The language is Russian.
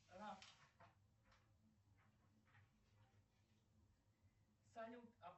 салют